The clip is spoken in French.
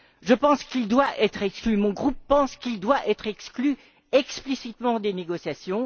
Je pense qu'il doit être exclu, mon groupe pense qu'il doit être exclu explicitement des négociations.